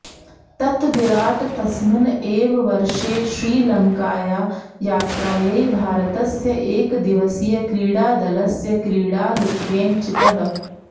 ततः विराट् तस्मिन् एव वर्षे श्रीलङ्कायाः यात्रायै भारतस्य एकदिवसीयक्रीडादलस्य क्रीडालुत्वेन चितः